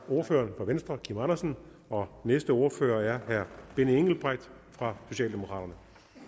ordføreren fra venstre kim andersen og næste ordfører er herre benny engelbrecht fra socialdemokraterne